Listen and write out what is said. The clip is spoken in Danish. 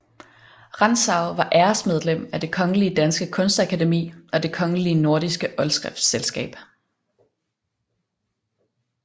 Rantzau var æresmedlem af Det Kongelige Danske Kunstakademi og Det kongelige Nordiske Oldskriftselskab